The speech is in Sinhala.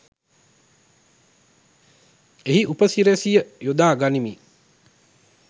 එහි උපසි‍රැසිය යොදා ගනිමින්